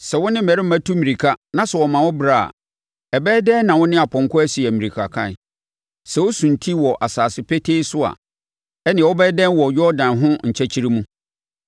“Sɛ wo ne mmarima tu mmirika na sɛ wɔma wo abrɛ a, ɛbɛyɛ dɛn na wo ne apɔnkɔ asi mmirikakan? Sɛ wosunti wɔ asase petee so a, ɛnneɛ wobɛyɛ dɛn wɔ Yordan ho nkyɛkyerɛ mu?